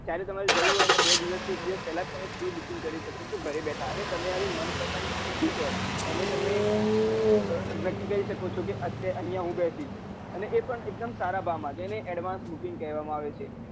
જયારે તમારે જવું હોય એના બે દિવસ કે એક દિવસ પેલા prebooking કરી શકો ચો ગરે બેઠા અને તમારી મનપસંદ સીટ હોય એને તને નક્કી કરી શકો ચો કે અહીંયા હું બેસીસ અને એ પણ એક દમ સારા ભાવ માં જ એને advance booking કહેવામાં આવે છે